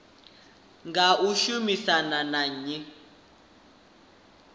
nga u shumisana na nnyi